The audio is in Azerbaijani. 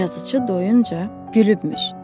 Yazıçı doyuncaya gülübmüş.